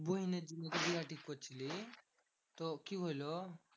বুইনের জন্য যে বিহা ঠিক করছিলি, তো কি হলো?